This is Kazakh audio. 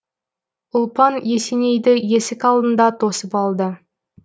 ұлпан есенейді есік алдында тосып алды